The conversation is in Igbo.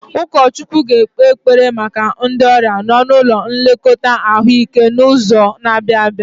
Ụkọchukwu ga-ekpe ekpere maka ndị ọrịa nọ n'ụlọ nlekọta ahụike n'izu na-abịa